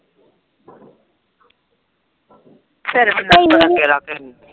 ਰ ਫਿਰ ਤੈਨੂੰ ਨੀ